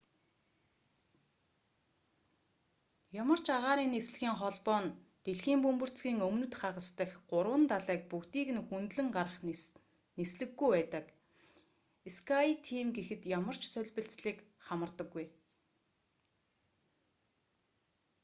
ямар ч агаарын нислэгийн холбоо нь дэлхийн бөмбөрцгийн өмнөд хагас дахь гурван далайг бүгдийг нь хөндлөн гарах нислэггүй байдаг скайтийм гэхэд ямар ч солбилцлыг хамардаггүй